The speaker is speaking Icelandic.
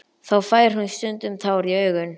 Þá fær hún stundum tár í augun.